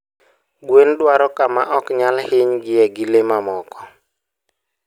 Gweno dwaro kama ok onyal hiny gie gi le mamoko.